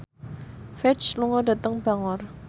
Ferdge lunga dhateng Bangor